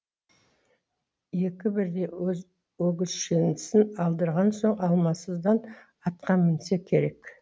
екі бірдей өгізшесін алдырған соң амалсыздан атқа мінсе керек